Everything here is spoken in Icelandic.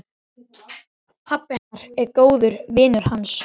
Pabbi hennar er góður vinur hans.